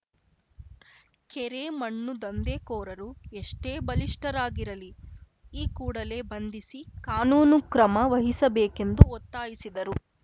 ಕೆರೆ ಮಣ್ಣು ದಂಧೆಕೋರರು ಎಷ್ಟೇ ಬಲಿಷ್ಠರಾಗಿರಲಿ ಈ ಕೂಡಲೇ ಬಂಧಿಸಿ ಕಾನೂನು ಕ್ರಮ ವಹಿಸಬೇಕೆಂದು ಒತ್ತಾಯಿಸಿದರು